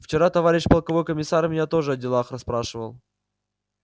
вчера товарищ полковой комиссар меня тоже о делах расспрашивал